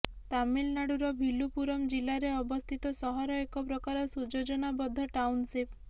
ତାମିଲନାଡୁର ଭିଲୁପୁରମ ଜିଲ୍ଲାରେ ଅବସ୍ଥିତ ସହର ଏକ ପ୍ରକାର ସୁଯୋଜନାବଦ୍ଧ ଟାଉନସିପ୍